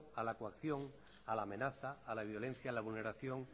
a la coacción a la amenaza a la violencia a la vulneración